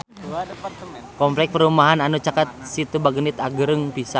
Kompleks perumahan anu caket Situ Bagendit agreng pisan